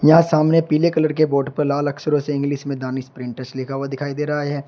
यहाँ सामने पीले कलर के बॉर्ड पर लाल अक्षरों से इंग्लिश में दानिश प्रिंटर्स लिखा हुआ दिखाई दे रहा है।